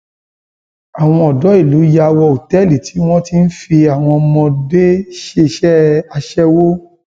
àwọn ọdọ ìlú yà wọ òtẹẹlì tí wọn ti ń fi àwọn ọmọdé ṣiṣẹ aṣẹwó